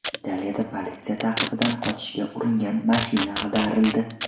Italiyada politsiya ta’qibidan qochishga uringan mashina ag‘darildi.